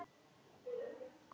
Hún er góð við mig.